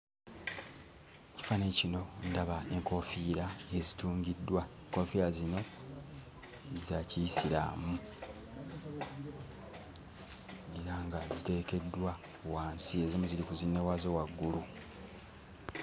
Ekifaananyi kino ndaba enkofiira ezitungiddwa. Enkoofiira zino za Kiyisiraamu era nga ziteekeddwa wansi, ezimu ziri ku zinnewaazo waggulu.